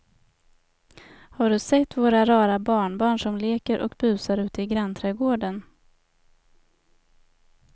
Har du sett våra rara barnbarn som leker och busar ute i grannträdgården!